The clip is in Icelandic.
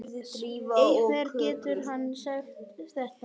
Hvernig getur hann sagt þetta?